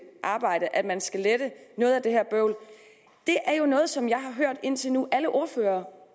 arbejde at man skal lette noget af det her bøvl det er jo noget som jeg indtil nu har hørt alle ordførere